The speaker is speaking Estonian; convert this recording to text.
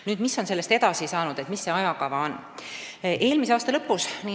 Nüüd, mis on sellest edasi saanud, milline on ajakava?